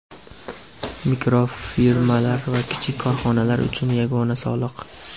mikrofirmalar va kichik korxonalar uchun yagona soliq;.